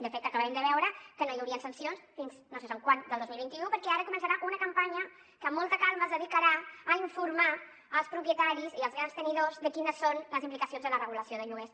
de fet acabem de veure que no hi haurien sancions fins a no se sap quan del dos mil vint u perquè ara començarà una campanya que amb molta calma es dedicarà a informar els propietaris i els grans tenidors de quines són les implicacions de la regulació de lloguers